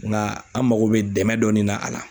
Nka an mago bɛ dɛmɛ dɔɔnin na a la.